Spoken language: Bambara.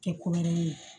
Kɛ ko wɛrɛ ye